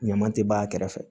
Ɲaman tɛ b'a kɛrɛfɛ